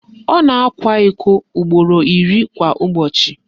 Ọ na-akwa iko ugboro iri kwa ụbọchị